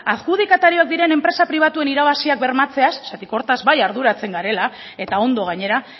adjudikatarioak diren enpresa pribatuen irabaziak bermatzeaz zeren horretaz bai arduratzen garela eta ondo gainera